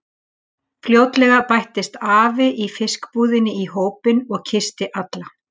Fljótlega bættist afi í fiskbúðinni í hópinn og kyssti alla.